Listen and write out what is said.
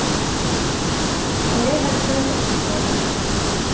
Og jeg har prøvd å forstå den.